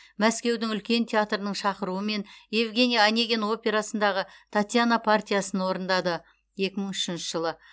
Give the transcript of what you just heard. мәскеудің үлкен театрының шақыруымен евгений онегин операсындағы татьяна партиясын орындады екі мың үшінші жылы